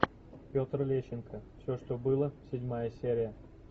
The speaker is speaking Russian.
петр лещенко все что было седьмая серия